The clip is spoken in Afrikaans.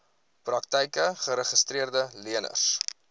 praktyke geregistreede leners